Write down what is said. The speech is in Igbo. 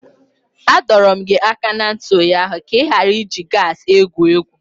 Adọro m gị aka na ntị ụnyaahụ ka ị ghara iji gasi egwu egwu!